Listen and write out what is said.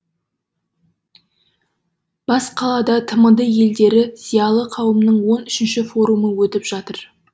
бас қалада тмд елдері зиялы қауымының он үшінші форумы өтіп жатыр